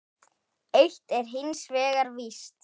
Eitt er hins vegar víst.